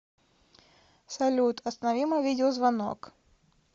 салют останови мой видеозвонок